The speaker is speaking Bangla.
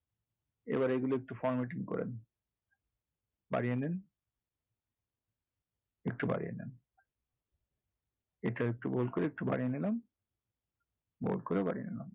এবার এগুলা একটু formatting করেন বাড়িয়ে নেন একটু বাড়িয়ে নেন এটা একটু bold করে বাড়িয়ে নিলাম bold করে বাড়িয়ে নিলাম।